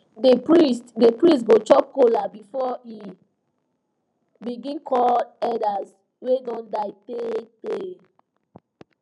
the priest the priest go chop kola before e begin call elders wey don die tey tey